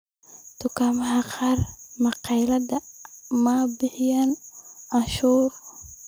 Dukaamada qaar ee magaalada ma bixiyaan cashuur.